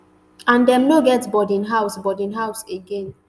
and dem no get boarding house boarding house again